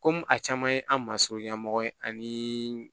Komi a caman ye an ma surun ɲɛmɔgɔ ye ani